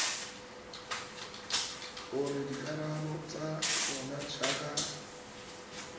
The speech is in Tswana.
gore dikarabo tsa tsona jaaka